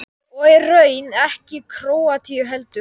Og í raun ekki Króatíu heldur.